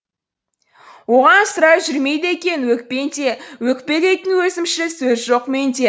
оған сірә жүрмейді екен өкпең де өкпелейтін өзімшіл сөз жоқ менде